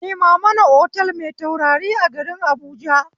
Nema mana otal mai taurari a garin habuja